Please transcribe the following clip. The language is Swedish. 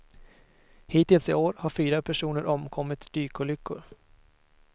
Hittills i år har fyra personer omkommit i dykolyckor.